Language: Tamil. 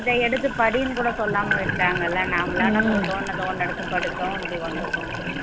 இதஎடுத்து படின்னு கூட சொல்லாம விட்டாங்கல்ல நாமெல்லாம் நமக்கு தோணுனத ஒண்ணு எடுத்து படிச்சோம் இப்படி வந்துட்டோம்